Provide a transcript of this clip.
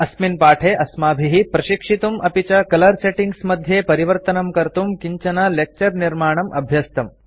अस्मिन् पाठे अस्माभिः प्रशिक्षितुं अपि च कलर सेटिंग्स मध्ये परिवर्तनं कर्तुं किञ्चन लेक्चर निर्माणम् अभ्यस्तम्